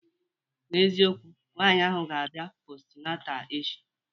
N'eziokwu, nwaanyị ahụ ga-abịa postnata echi